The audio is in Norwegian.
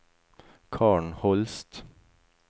Karen Holst